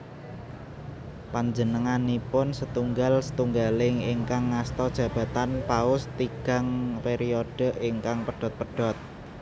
Panjenenganipun setunggal setunggaling ingkang ngasta jabatan Paus tigang periode ingkang pedhot pedhot